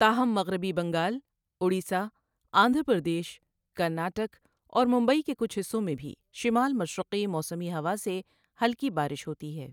تاہم مغربی بنگال، اڑیسہ، آندھرا پردیش، کرناٹک اور ممبئی کے کچھ حصوں میں بھی شمال مشرقی موسمی ہوا سے ہلکی بارش ہوتی ہے۔